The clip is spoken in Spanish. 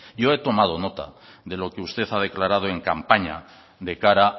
yo he tomado nota de lo que usted ha declarado en campaña de cara